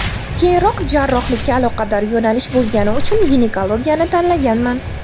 Keyinroq jarrohlikka aloqador yo‘nalish bo‘lgani uchun ginekologiyani tanlaganman.